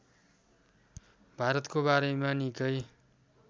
भारतको बारेमा निकै